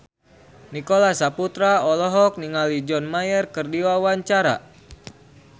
Nicholas Saputra olohok ningali John Mayer keur diwawancara